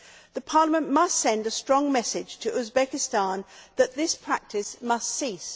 The Parliament must send a strong message to Uzbekistan that this practice must cease.